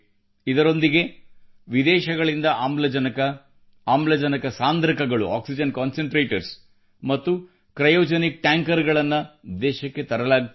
ಇದರೊಂದಿಗೆ ವಿದೇಶಗಳಿಂದ ಆಮ್ಲಜನಕ ಆಮ್ಲಜನಕ ಸಾಂದ್ರಕಗಳು ಆಕ್ಸಿಜನ್ concentratorsಮತ್ತು ಕ್ರಯೋಜೆನಿಕ್ ಟ್ಯಾಂಕರ್ಕ್ರಯೋಜೆನಿಕ್ ಟ್ಯಾಂಕರ್ಸ್ ಗಳನ್ನು ದೇಶಕ್ಕೆ ತರಲಾಗುತ್ತಿದೆ